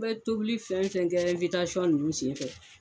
An be tobili fɛn fɛn kɛ ɛnwitasɔn nunnu sen fɛ